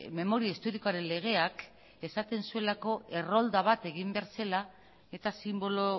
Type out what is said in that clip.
memoria historikoaren legeak esaten zuelako errolda bat egin behar zela eta sinbolo